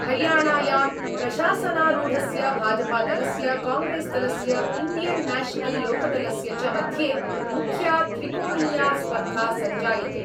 हरियाणायां प्रशासनारूढस्य भाजपादलस्य, कांग्रेस्दलस्य, इण्डियन् न्याशनल् लोकदलस्य च मध्ये मुख्या त्रिकोणीया स्पर्धा सञ्जायते।